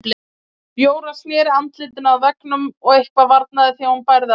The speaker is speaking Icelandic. Jóra sneri andlitinu að veggnum og eitthvað varnaði því að hún bærði á sér.